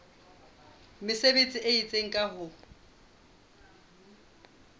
mesebetsi e itseng ka ho